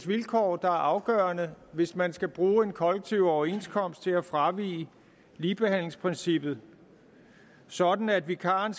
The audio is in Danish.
vilkår der er afgørende hvis man skal bruge en kollektiv overenskomst til at fravige ligebehandlingsprincippet sådan at vikaren